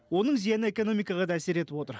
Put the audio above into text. оның зияны экономикаға да әсер етіп отыр